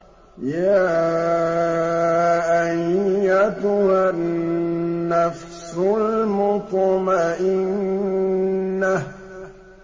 يَا أَيَّتُهَا النَّفْسُ الْمُطْمَئِنَّةُ